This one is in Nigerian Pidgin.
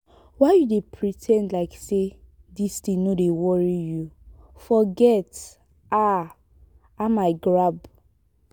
why you dey pre ten d like say dis thing no dey worry you? forget um am i grab